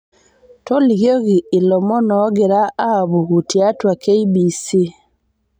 tolikioki ilomon oogira aapuku tiatu k.b.c